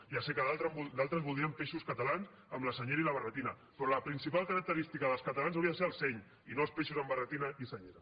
ja sé que d’altres voldrien peixos catalans amb la senyera i la barretina però la principal característica dels catalans hauria de ser el seny i no els peixos amb barretina i senyera